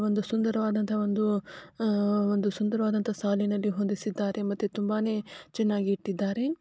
ಒಂದು ಸುಂದರವಾದಂತ ಒಂದು ಅ ಒಂದು ಸುಂದರವಾದಂತ ಸಾಲಿನಲ್ಲಿ ಹೊಂದಿಸಿದ್ದಾರೆ ಮತ್ತೆ ತುಂಬಾನೇ ಚೆನ್ನಾಗಿ ಇಟ್ಟಿದ್ದಾರೆ.